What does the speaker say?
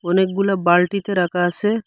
অনেকগুলো বালটিতে রাখা আসে।